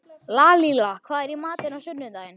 Lalíla, hvað er í matinn á sunnudaginn?